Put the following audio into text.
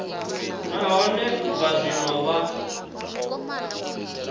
nahone u bva zwino vha